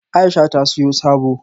Aisha ta siyo sabo